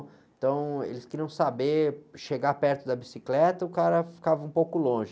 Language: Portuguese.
Então, eles queriam saber, chegar perto da bicicleta, o cara ficava um pouco longe.